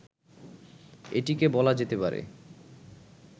এটিকে বলা যেতে পারে